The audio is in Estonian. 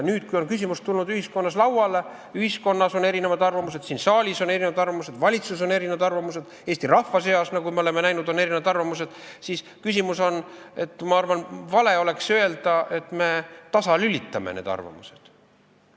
Nüüd, kui on küsimus tulnud ühiskonnas lauale, ühiskonnas on erinevad arvamused, siin saalis on erinevad arvamused, valitsuses on erinevad arvamused, Eesti rahva seas, nagu me oleme näinud, on erinevad arvamused, siis on, ma arvan, vale öelda, et me tasalülitame need arvamused.